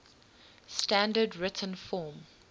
standard written form